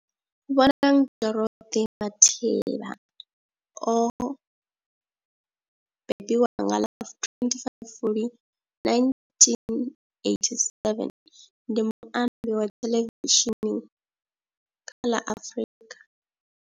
Bonang Dorothy Matheba o bebiwa nga ḽa 25 Fulwi 1987, ndi muambi wa theḽevishini kha ḽa Afrika.